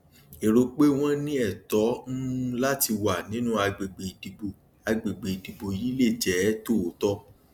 èrò pé wọn ní ẹtọ um láti wà nínú àgbègbè ìdìbò àgbègbè ìdìbò yìí lè jẹ tòótọ